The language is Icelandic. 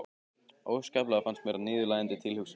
Óskaplega fannst mér það niðurlægjandi tilhugsun.